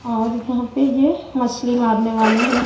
और यहां पे ये मछली मारने वाले हैं।